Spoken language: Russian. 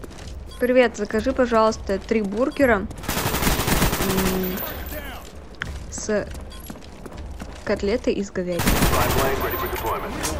привет закажи пожалуйста три бургера с котлетой из говядины